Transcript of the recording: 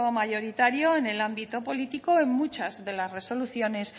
mayoritario en el ámbito político en muchas de las resoluciones